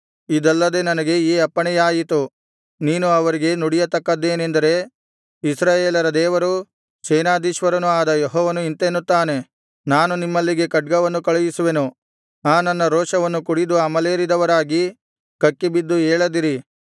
ಇದಲ್ಲದೆ ನನಗೆ ಈ ಅಪ್ಪಣೆಯಾಯಿತು ನೀನು ಅವರಿಗೆ ನುಡಿಯತಕ್ಕದ್ದೇನೆಂದರೆ ಇಸ್ರಾಯೇಲರ ದೇವರೂ ಸೇನಾಧೀಶ್ವರನೂ ಆದ ಯೆಹೋವನು ಇಂತೆನ್ನುತ್ತಾನೆ ನಾನು ನಿಮ್ಮಲ್ಲಿಗೆ ಖಡ್ಗವನ್ನು ಕಳುಹಿಸುವೆನು ಆ ನನ್ನ ರೋಷವನ್ನು ಕುಡಿದು ಅಮಲೇರಿದವರಾಗಿ ಕಕ್ಕಿ ಬಿದ್ದು ಏಳದಿರಿ